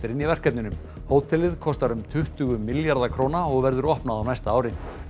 í verkefninu hótelið kostar um tuttugu milljarða króna og verður opnað á næsta ári